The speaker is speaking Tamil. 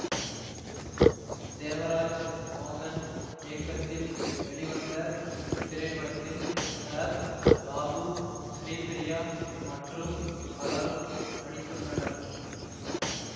தேவராஜ் மோகன் இயக்கத்தில் வெளிவந்த இத்திரைப்படத்தில் சரத் பாபு ஸ்ரீபிரியா மற்றும் பலரும் நடித்துள்ளனர்